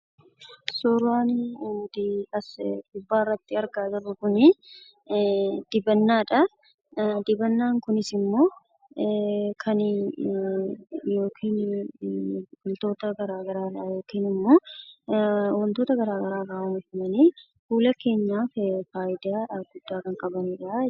Suuraan as gubbaarratti argaa jirru kunii dibannaadha. Dibannaan kunis wantoota garaagaraa irraa oomishamanii fuula keenyaaf faayidaa guddaa kan qabaniidha jechuudha.